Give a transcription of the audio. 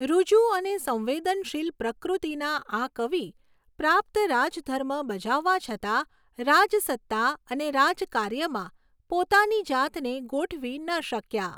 ઋજુ અને સંવેદનશીલ પ્રકૃતિના આ કવિ પ્રાપ્ત રાજધર્મ બજાવવા છતાં રાજસત્તા અને રાજકાર્યમાં પોતાની જાતને ગોઠવી ન શક્યા.